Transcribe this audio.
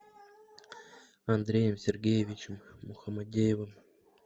андреем сергеевичем мухамадеевым